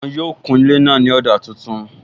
Wọn yóò kun ilé náà ní ọ̀dà tuntun